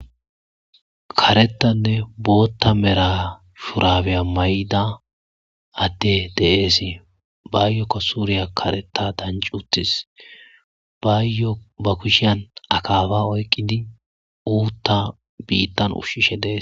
karetanne bootta mera shurabeya may7da adde deeesii bayyokko suuriya kareta dancuttis bayyo ba kushiyan akaaba oyqqidi uutta biittan ushshishe dees